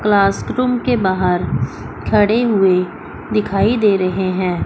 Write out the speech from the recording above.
Class room के बाहर खड़े हुए दिखाई दे रहे हैं।